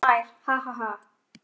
Kiddi hlær.